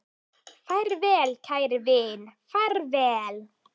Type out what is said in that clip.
Far vel kæri vin, far vel